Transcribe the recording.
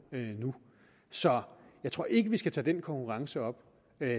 nu så jeg tror ikke at vi skal tage den konkurrence op